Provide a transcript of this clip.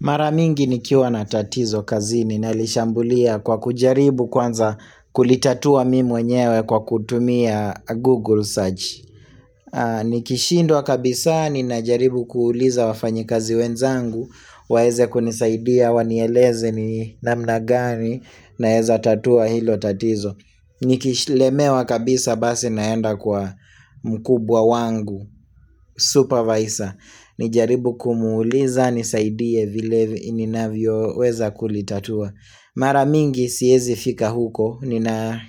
Mara mingi nikiwa na tatizo kazini nalishambulia kwa kujaribu kwanza kulitatua mimi mwenyewe kwa kutumia Google Search. Nikishindwa kabisa ninajaribu kuuliza wafanyikazi wenzangu, waeze kunisaidia, wanieleze ni namna gani naeza tatua hilo tatizo. Nikishi lemewa kabisa basi naenda kwa mkubwa wangu Supervisor nijaribu kumuuliza nisaidie vile ninavyoweza kulitatua mara mingi siezi fika huko nina